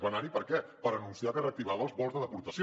va anar hi per què per anunciar que reactivava els vols de deportació